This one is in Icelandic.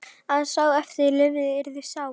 Að sá sem eftir lifði yrði sár.